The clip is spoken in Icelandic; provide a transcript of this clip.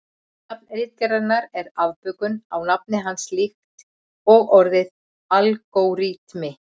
Nafn ritgerðarinnar er afbökun á nafni hans líkt og orðið algóritmi.